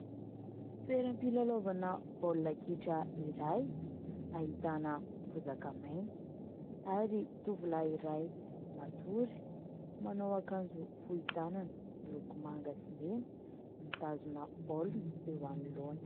Toeram-pilalaovana baolina kitra iray ahitana bozaka maitso ary tovolahy iray matory manao akanjo fohy tanana miloko manga sy mena, mitazona baolina eo anoloana.